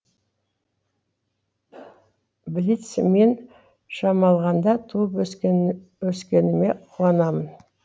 блиц мен шамалғанда туып өскеніме қуанамын